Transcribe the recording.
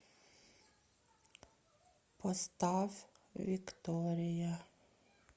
поставь виктория